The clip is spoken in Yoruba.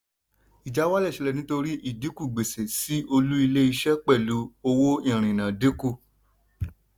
ìjáwálẹ̀ ṣẹlẹ̀ nítorí ìdìnkú gbèsè sí olú ilé iṣẹ́ pẹ̀lú owó ìrìnà dínkù.